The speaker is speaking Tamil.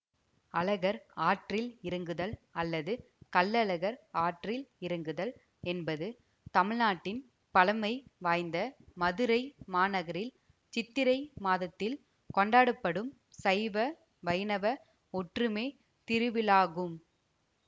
அழகர் ஆற்றில் இறங்குதல் அல்லது கள்ளழகர் ஆற்றில் இறங்குதல் என்பது தமிழ்நாட்டின் பழமை வாய்ந்த மதுரை மாநகரில் சித்திரை மாதத்தில் கொண்டாடப்படும் சைவ வைணவ ஒற்றுமைத் திருவிழாகும்